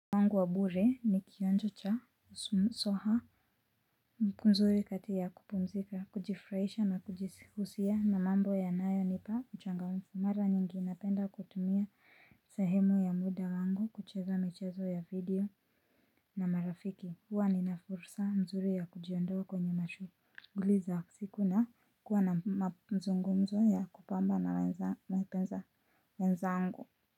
Wangu wa bure ni kionjo cha soha mzuri kati ya kupumzika kujifurahisha na kujihusia na mambo yanayonipa uchangamfu mara nyingi napenda kutumia sahemu ya muda wangu kucheza michezo ya video na marafiki huwa nina fursa mzuri ya kujiondowa kwenye mashuguli za siku na kuwa na mzungumzo ya kupamba na wenzangu. Kwa hivyo.